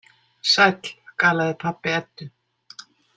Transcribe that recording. Sæll, galaði pabbi Eddu.